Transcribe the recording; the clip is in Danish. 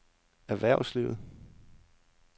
erhvervslivet